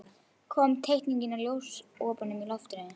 Kom teikning af ljósopum í loftið.